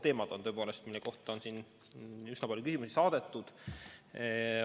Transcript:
Need teemad, mille kohta on üsna palju küsimusi saadetud, on tõepoolest väga olulised.